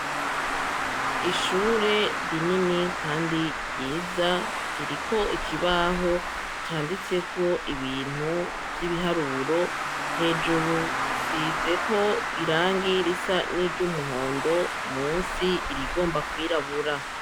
Ishure rinini, kandi ryiza ririko ikibaho canditseko ibintu vy'ibiharuro hejuru gisizeko irangi risa n'iryo umuhondo musi irigomba kwirabura.